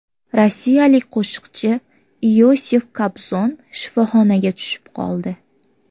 Rossiyalik qo‘shiqchi Iosif Kobzon shifoxonaga tushib qoldi.